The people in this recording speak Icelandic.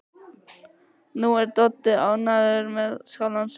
Nú er Doddi ánægður með sjálfan sig.